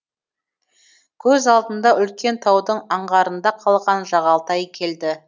көз алдына үлкен таудың аңғарында қалған жағалтай келді